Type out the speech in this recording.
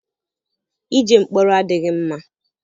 Ije mkpọrọ adịghị mma.